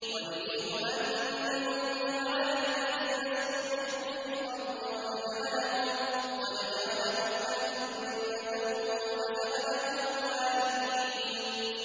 وَنُرِيدُ أَن نَّمُنَّ عَلَى الَّذِينَ اسْتُضْعِفُوا فِي الْأَرْضِ وَنَجْعَلَهُمْ أَئِمَّةً وَنَجْعَلَهُمُ الْوَارِثِينَ